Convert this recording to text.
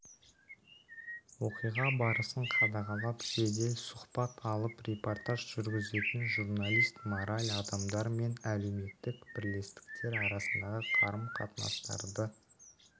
оқиға барысын қадағалап жедел сұхбат алып репортаж жүргізетін журналист мораль адамдар мен әлеуметтік бірлестіктер арасындағы қарым-қатынастарды